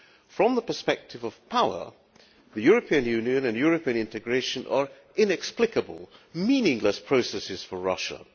From the perspective of power, the European Union and European integration are inexplicable, meaningless processes for Russia.